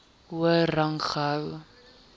hoër rang gehou